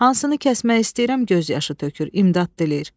Hansını kəsmək istəyirəm göz yaşı tökür, imdad diləyir.